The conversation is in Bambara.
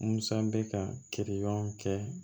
Musa bɛ ka kiiri ɲɔn kɛ